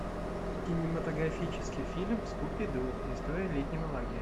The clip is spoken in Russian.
кинематографический фильм скуби ду история летнего лагеря